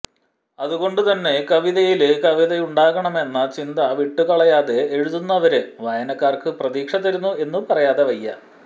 അതുകൊണ്ടു തന്നെ കവിതയില് കവിതയുണ്ടാകണമെന്ന ചിന്ത വിട്ടുകളയാതെ എഴുതുന്നവര് വായനക്കാര്ക്കു പ്രതീക്ഷ തരുന്നു എന്നു പറയാതെ വയ്യ